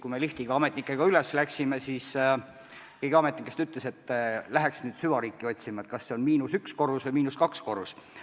Kui me liftiga ametnikega üles sõitsime, siis keegi ametnikest ütles, et läheks nüüd süvariiki otsima – kas see on miinus üks korrus või miinus kaks korrust.